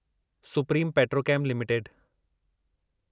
supreme Petrochem limited